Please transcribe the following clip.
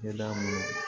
Ne d'a ma